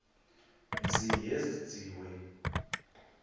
mzi yenziwe isigculelo